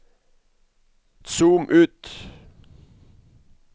zoom ut